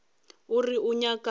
o re o nyaka bao